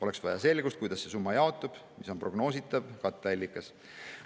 Oleks vaja selgust, kuidas see summa jaotub ja mis on prognoositav katteallikas.